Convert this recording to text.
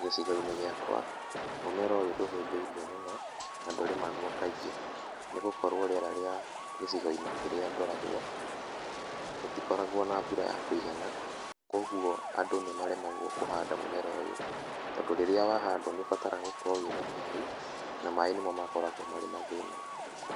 Gĩcigo-inĩ gĩakwa mũmera ũyũ ndũhĩmbĩirio mũno na ndũrĩmagwo kaingĩ nĩgũkorwo rĩera rĩa gĩcigo-inĩ kĩria ngoragwo, gũtikoragwo na mbura ya kũigana, kũoguo andũ nĩmaremagwo kũhanda mũmera ũyũ, tondũ rĩrĩa wahandwo nĩ ũbataraga gũkorwo wĩna maĩ na maĩ nĩmo makoragwo mena thĩna.